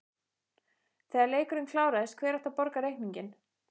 Þegar leikurinn kláraðist, hver átti að borga reikninginn?